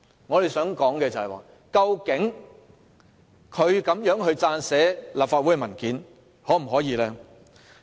我想問的是，究竟他可否以這種方式撰寫立法會文件？